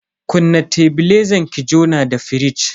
Kunna tebilezan ki jona da firij.